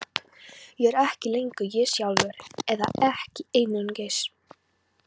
Ég er ekki lengur ég sjálfur, eða ekki einungis.